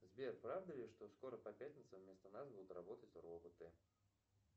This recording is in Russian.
сбер правда ли что скоро по пятницам вместо нас будут работать роботы